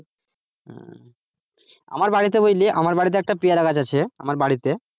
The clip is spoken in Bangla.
আমার বাড়িতে বুঝলি আমার বাড়িতে একটা পেয়ারা গাছ আছে আমার বাড়িতে।